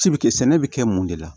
Ci bɛ kɛ sɛnɛ bɛ kɛ mun de la